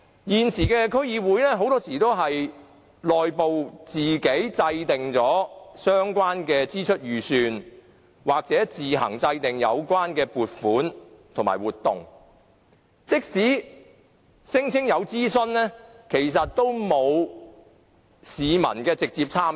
現時區議會很多時候會在內部自行制訂相關的支出預算、撥款和活動，即使聲稱有諮詢，其實亦沒有市民的直接參與。